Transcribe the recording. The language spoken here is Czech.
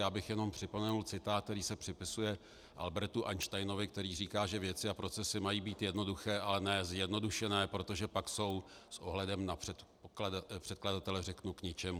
Já bych jenom připomenul citát, který se připisuje Albertu Einsteinovi, který říká, že věci a procesy mají být jednoduché, ale ne zjednodušené, protože pak jsou - s ohledem na předkladatele řeknu k ničemu.